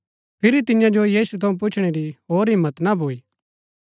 फिरी तियां जो यीशु थऊँ पुछणै री होर हिम्मत ना भूई